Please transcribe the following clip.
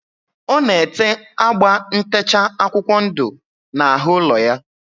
Ọ na-ete agba ntecha akwụkwọ ndụ n'ahụ ụlọ ya.